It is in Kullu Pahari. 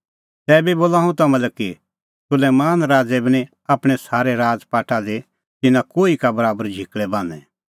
तैबी बोला हुंह तम्हां लै कि सुलैमान राज़ै बी निं आपणैं सारै राज़पाठा दी तिन्नां कोही बराबर झिकल़ै बान्हैं